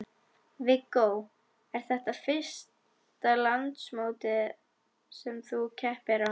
Viggó: Er þetta fyrsta landsmótið sem að þú keppir á?